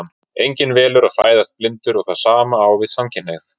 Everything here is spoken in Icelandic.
Enginn velur að fæðast blindur og það sama á við um samkynhneigð.